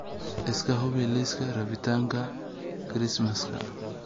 iska hubi liiska rabitaanka Kirismaska